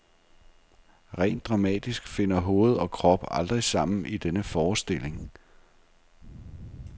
Rent dramatisk finder hoved og krop aldrig sammen i denne forestilling.